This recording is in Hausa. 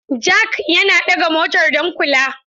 Jak yana ɗaga motar don kula.